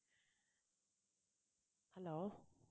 hello